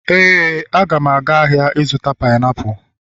éè, m ga-aga ahịa ịzụta painiapulu